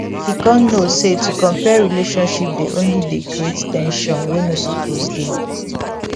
he con know say to compare relationship dey only dey create ten sion wey no suppose dey